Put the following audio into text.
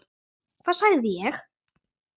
Hvað sagði ég??